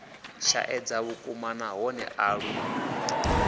shaedza vhukuma nahone a lu